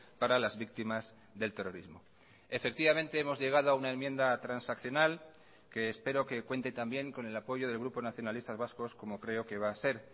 para las víctimas del terrorismo efectivamente hemos llegado a una enmienda transaccional que espero que cuente también con el apoyo del grupo nacionalistas vascos como creo que va a ser